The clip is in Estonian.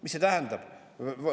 Mida see tähendab?